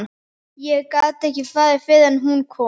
Ég gat ekki farið fyrr en hún kom.